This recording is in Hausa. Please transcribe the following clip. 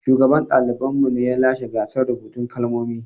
Shugaban ɗaliban mu ne ya lashe gasar rubutun kalmomi.